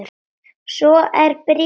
Svo er bréfið búið